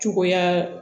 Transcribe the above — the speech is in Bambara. Cogoya